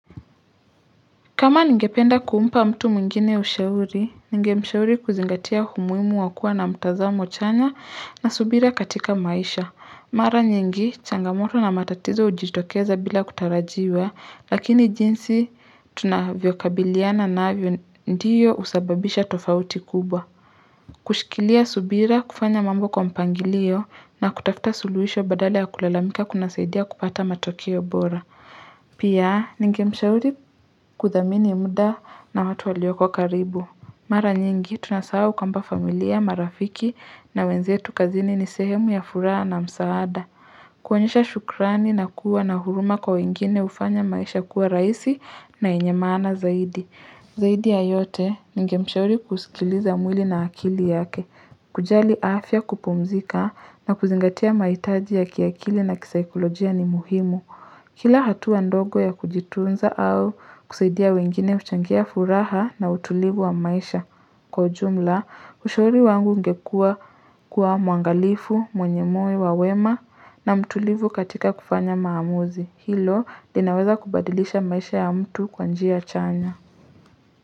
Kama ningependa kumpa mtu mwingine ushauri, ningemshauri kuzingatia umuhimu wa kuwa na mtazamo chanya na subira katika maisha. Mara nyingi, changamoto na matatizo hujitokeza bila kutarajiwa, lakini jinsi tunavyokabiliana navyo ndiyo husababisha tofauti kubwa. Kushikilia subira kufanya mambo kwa mpangilio na kutafuta suluhisho badala ya kulalamika kuna saidia kupata matokeo bora. Pia ningemshauri kuthamini muda na watu walioko karibu Mara nyingi tunasahau kwamba familia, marafiki na wenzetu kazini ni sehemu ya furaha na msaada kuonyesha shukrani na kuwa na huruma kwa wengine hufanya maisha kuwa rahisi na yenye maana zaidi Zaidi ya yote ningemshauri kusikiliza mwili na akili yake kujali afya kupumzika na kuzingatia mahitaji ya kiakili na kisaikolojia ni muhimu Kila hatua ndogo ya kujitunza au kusaidia wengine huchangia furaha na utulivu wa maisha kwa ujumla, ushauri wangu ungekua kuwa muangalifu, mwenye moyo wa wema na mtulivu katika kufanya maamuzi. Hilo linaweza kubadilisha maisha ya mtu kwa njia chanya.